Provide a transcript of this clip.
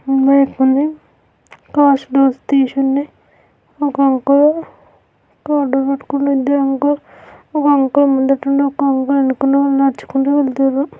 Cars doors తీసి ఉన్నాయి. ఒక అంకుల్ ఒక అంకుల్ ముంగడున్నాడు ఇంకొక అంకుల్ వెనకనుంచి నడుచుకుంటూ వెళ్తున్రు.